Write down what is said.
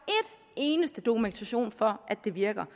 eneste stykke dokumentation for at det virker